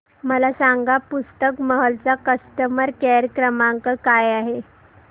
मला सांगा पुस्तक महल चा कस्टमर केअर क्रमांक काय आहे